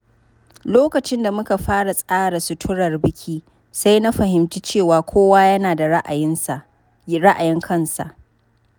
Lokacin da muka fara tsara suturar biki, sai na fahimci cewa kowa yana da ra’ayin kansa.